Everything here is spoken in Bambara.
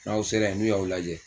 N'aw sera yen n'u y'aw lajɛ